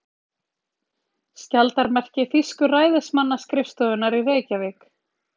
Skjaldarmerki þýsku ræðismannsskrifstofunnar í Reykjavík.